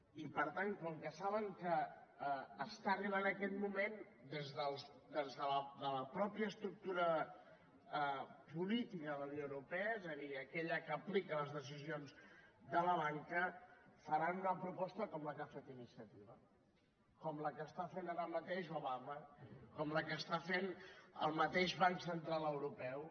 i per tant com que saben que està arribant aquest moment des de la mateixa estructura política de la unió europea és a dir aquella que aplica les decisions de la banca faran una proposta com la que ha fet iniciativa com la que està fent ara mateix obama com la que està fent el mateix banc central europeu